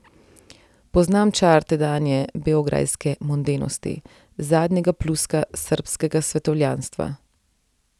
Poznam čar tedanje beograjske mondenosti, zadnjega pljuska srbskega svetovljanstva.